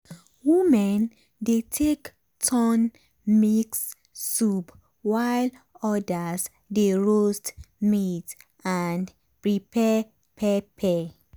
women dey take turn mix soup while others dey roast meat and prepare pepper.